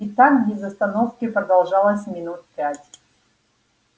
и так без остановки продолжалось минут пять